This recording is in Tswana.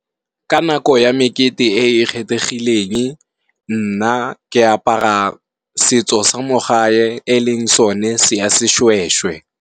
Ka nako ya mekete e e kgethegilenge, nna ke apara setso sa mo gae e leng sone se ya seshweshwe